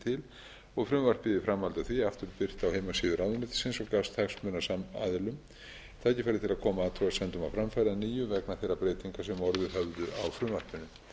til og frumvarpið í framhaldi af því aftur birt á heimasíðu ráðuneytisins og gafst hagsmunaaðilum tækifæri til að koma athugasemdum á framfæri að nýju vegna þeirra breytinga sem orðið höfðu á frumvarpinu